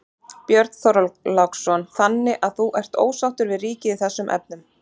Björn Þorláksson: Þannig að þú ert ósáttur við ríkið í þessum efnum?